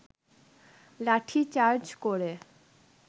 লাঠি চার্জ করে